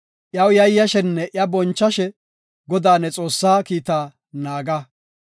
Iyaw yayyashenne iya bonchashe Godaa ne Xoossaa kiitaa naaga.